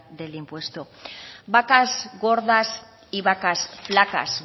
del impuesto vacas gordas y vacas flacas